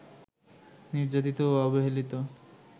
নির্যাতিত ও অবহেলিত